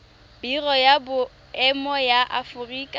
biro ya boemo ya aforika